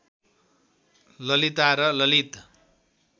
ललिता र ललित